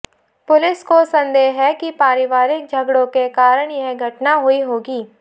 police को संदेह है कि पारिवारिक झगड़ों के कारण यह घटना हुई होगी